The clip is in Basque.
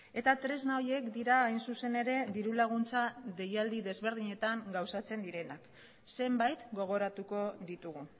eta tresna horiek dira hain zuzen ere dirulaguntza deialdi desberdinetan gauzatzen direnak zenbait gogoratuko ditugu